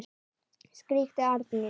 skríkti Arndís.